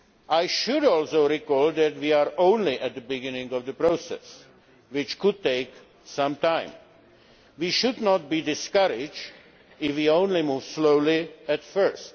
I should also recall that we are only at the beginning of the process, which could take some time. We should not be discouraged if it only moves slowly at first.